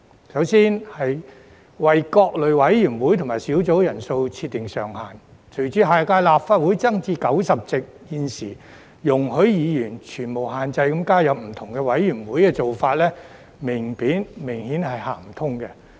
首先，有關為各類委員會及小組委員會人數設定上限，隨着下屆立法會增至90席，現時容許議員全無限制地加入不同委員會的做法，明顯是行不通的。